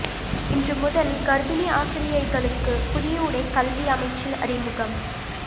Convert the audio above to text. இன்று முதல் கர்பிணி ஆசிரியைகளுக்கு புதிய உடை கல்வி அமைச்சில் அறிமுகம்